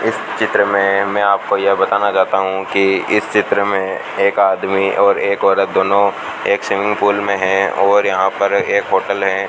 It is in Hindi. इस चित्र में हमे आपको यह बताना चाहता हूं कि इस चित्र में एक आदमी और एक औरत दोनों एक स्विमिंग पूल में है और यहां पर एक होटल है।